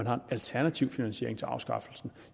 har en alternativ finansiering til afskaffelsen